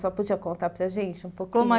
Senhora podia contar para gente um pouquinho? Como a